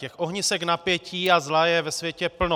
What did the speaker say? Těch ohnisek napětí a zla je ve světě plno.